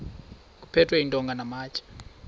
kuphethwe iintonga namatye